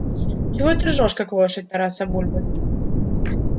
чего ты ржёшь как лошадь тараса бульбы